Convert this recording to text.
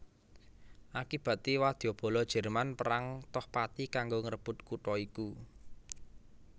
Akibaté wadyabala Jerman perang toh pati kanggo ngrebut kutha iku